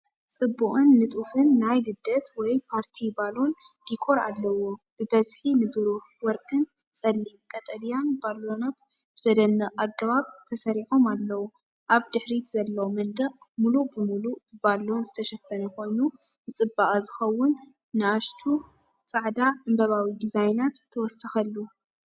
ጽቡቕን ንጡፍን ናይ ልደት ወይ ፓርቲ ባሎን ዲኮር ኣለዎ። ብብዝሒ ንብሩህ ወርቅን ጸሊም ቀጠልያን ባሎናት ብዘደንቕ ኣገባብ ተሰሪዖም ኣለዉ። ኣብ ድሕሪት ዘሎ መንደቕ ምሉእ ብምሉእ ብባሎን ዝተሸፈነ ኮይኑ፡ ንጽባቐ ዝኸውን ንኣሽቱ ጻዕዳ ዕምባባዊ ዲዛይናት ተወሰኸሉ።